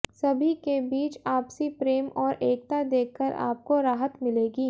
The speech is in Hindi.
सभी के बीच आपसी प्रेम और एकता देखकर आपको राहत मिलेगी